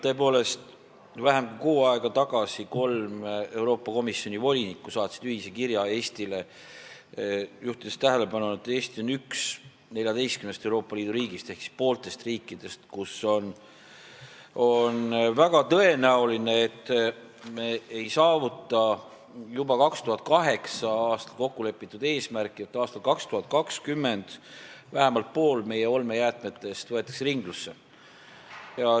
Tõepoolest, vähem kui kuu aega tagasi saatsid kolm Euroopa Komisjoni volinikku ühise kirja Eestile, juhtides tähelepanu, et Eesti on üks 14-st Euroopa Liidu riigist , kus on väga tõenäoline, et ei saavutata juba 2008. aastal kokku lepitud eesmärki, et aastal 2020 võetakse vähemalt pool meie olmejäätmetest ringlusse.